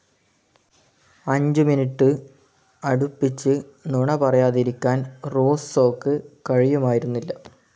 അഞ്ചു മിനുടെ അടുപ്പിച്ച് നുണ പറയാതിരിക്കാൻ റൂസ്സോക്ക് കഴിയുമായിരുന്നില്ല.